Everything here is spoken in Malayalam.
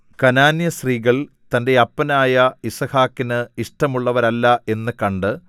കനാന്യസ്ത്രീകൾ തന്റെ അപ്പനായ യിസ്ഹാക്കിന് ഇഷ്ടമുള്ളവരല്ല എന്നു കണ്ട്